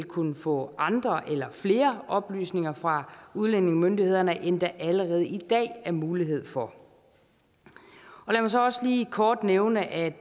kunne få andre eller flere oplysninger fra udlændingemyndighederne end der allerede i dag er mulighed for lad mig så også lige kort nævne at